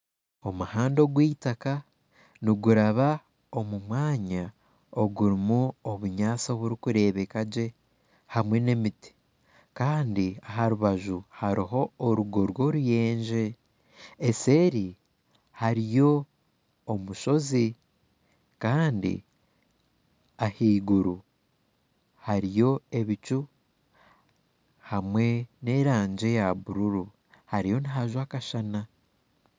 Omuhanda ogw'itaaka niguraba omu mwanya ogurimu obunyaatsi oburikureebekagye hamwe n'emiti, kandi aharubaju hariho orugo rw'oruyenje eseeri hariyo omushozi kandi ahaiguru hariyo ebicu hamwe n'erangi eya buruuru hariyo nihajwa akashana.